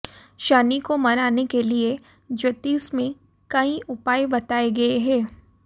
शनि को मनाने के लिए ज्योतिष में कई उपाय बताए गए हैं